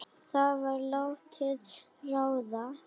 Það var látið ráða.